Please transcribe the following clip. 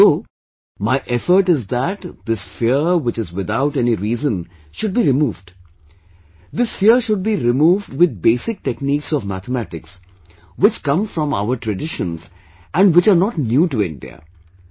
And so, my effort is that this fear which is without any reason should be removed, this fear should be removed withbasic techniques of mathematics which come from our traditions and which are not new to India